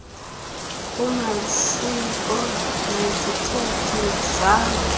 kumasiko nezithethe zase